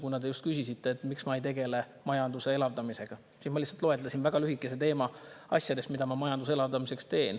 Kuna te just küsisite, miks ma ei tegele majanduse elavdamisega, siis ma lihtsalt loetlesin väga lühidalt asju, mida ma majanduse elavdamiseks teen.